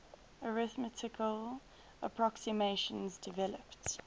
arithmetical approximations developed